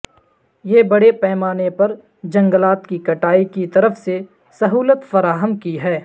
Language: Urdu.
یہ بڑے پیمانے پر جنگلات کی کٹائی کی طرف سے سہولت فراہم کی ہے